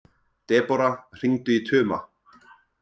Debóra, hringdu í Tuma.